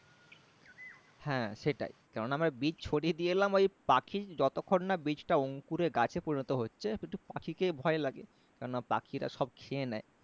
হ্যাঁ সেটাই কেননা আমরা বীজ ছড়িয়ে দিয়ে এলাম ওই পাখি যতক্ষণ না বীজটা অংকুরে গাছে পরিণত হচ্ছে একটু পাখিকে ভয় লাগে কেননা পাখিরা সব খেয়ে নেই